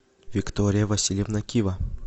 виктория васильевна кива